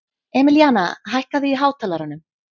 Emilíana, hækkaðu í hátalaranum.